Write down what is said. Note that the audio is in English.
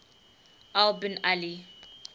al bin ali